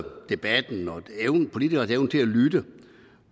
debatten og politikernes evne til at lytte